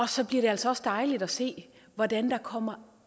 så bliver det altså også dejligt at se hvordan der kommer